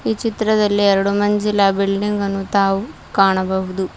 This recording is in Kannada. ಈ ಚಿತ್ರದಲ್ಲಿ ಎರಡು ಮಂಜಿಲ ಬಿಲ್ಡಿಂಗ್ ಅನ್ನು ತಾವು ಕಾಣಬಹುದು.